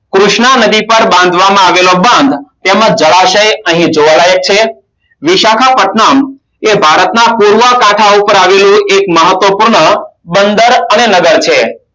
કૃષ્ણ નદી પર બાંધવામાં આવેલો બંધ તેમાં જળાશય અહીં જોડાય છે વિશાખા પથનામ એ ભારતમાં પૂર્વ બંધ અને નગર છે